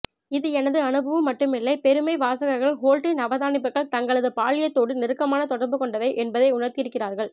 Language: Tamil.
இது எனது அனுபவம் மட்டுமில்லை பெரும்மை வாசகர்கள் ஹோல்டின் அவதானிப்புகள் தங்களது பால்யத்தோடு நெருக்கமான தொடர்பு கொண்டவை என்பதை உணர்த்தியிருக்கிறார்கள்